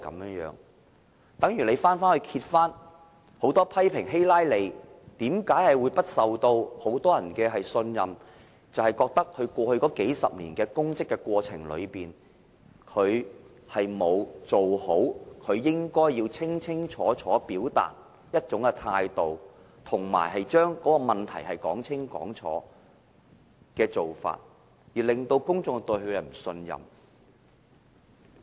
例如美國很多人批評希拉莉為何無法取得眾人信任，便是認為她在過去數十年擔任公職時，並沒有表達好其應該要清楚表達的一種態度，以及並未把問題說清楚，致令公眾不信任她。